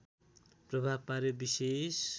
प्रभाव पार्‍यो विशेष